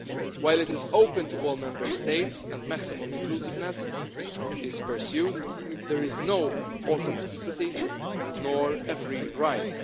While it is open to all Member States and maximum inclusiveness is pursued, there is no automaticity or a free ride.